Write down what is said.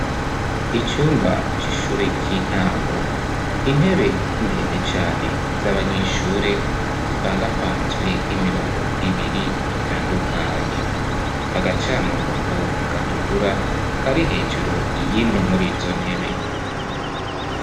Icumba c'ishure ry'intango, intebe ndende cane z 'abanyeshure zipangapanzwe imirongo ibiri itandukanye, agacamurongo gatukura kari hejuru y'imwe murizo ntebe.